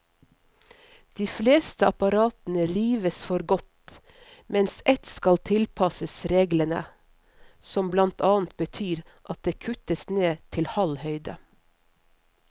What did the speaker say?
De fleste apparatene rives for godt, mens ett skal tilpasses reglene, som blant annet betyr at det kuttes ned til halv høyde.